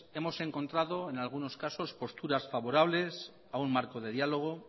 hemos encontrado en algunos casos posturas favorables a un marco de diálogo